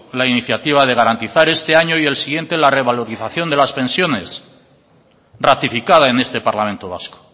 la iniciativa de garantizar este año y el siguiente la revalorización de las pensiones ratificada en este parlamento vasco